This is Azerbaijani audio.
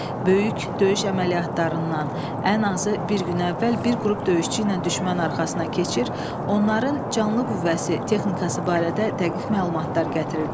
Böyük döyüş əməliyyatlarından ən azı bir gün əvvəl bir qrup döyüşçü ilə düşmən arxasına keçir, onların canlı qüvvəsi, texnikası barədə dəqiq məlumatlar gətirirdi.